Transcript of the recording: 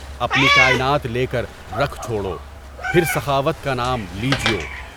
اپنی کائنات لے کر رکھ چھوڑو، پھر سخاوت کا نام لیجیو۔